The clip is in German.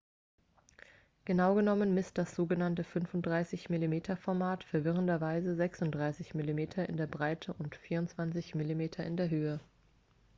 genau genommen misst das sogenannte 35-mm-format verwirrenderweise 36 mm in der breite und 24 mm in der höhe